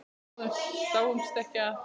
Við dáumst ekki að